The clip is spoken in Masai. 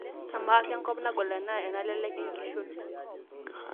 Amaa, kenkop nagol enaa enalelek enkishon?